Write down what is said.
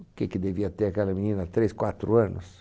O que que devia ter aquela menina, três, quatro anos?